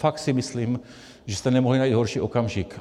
Fakt si myslím, že jste nemohli najít horší okamžik.